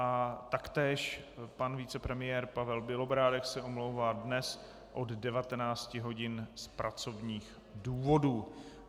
A taktéž pan vicepremiér Pavel Bělobrádek se omlouvá dnes od 19 hodin z pracovních důvodů.